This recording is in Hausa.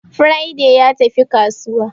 Friday ya tafi kasuwa